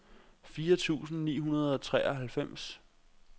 firs tusind ni hundrede og treoghalvfems